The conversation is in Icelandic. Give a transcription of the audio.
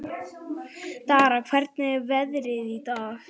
Dara, hvernig er veðrið í dag?